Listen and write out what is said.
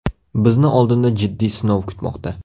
Bizni oldinda jiddiy sinov kutmoqda.